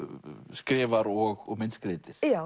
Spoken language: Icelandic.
skrifar og myndskreytir já